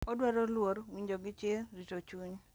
Odwaro luor, winjo gi chir, rito chuny,